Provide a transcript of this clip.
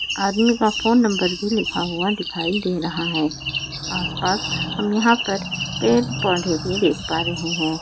आदमी का phone number भी लिखा हुआ दिखाई दे रहा है आस पास हम यहाँ पर पेड़ पौधे भी देख पा रहे है।